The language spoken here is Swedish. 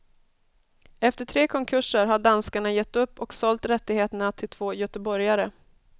Efter tre konkurser har danskarna gett upp och sålt rättigheterna till två göteborgare.